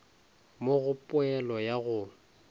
mo go poelo ya go